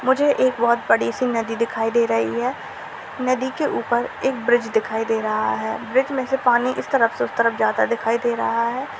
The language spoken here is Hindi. मुझे एक बहुत बड़ी सी नदी दिखाई दे रही है। नदी के ऊपर एक ब्रिज दिखाई दे रहा है। ब्रिज में से पानी इस तरफ से उस तरफ जाता दिखाई दे रहा है।